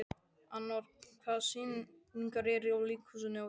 Anor, hvaða sýningar eru í leikhúsinu á þriðjudaginn?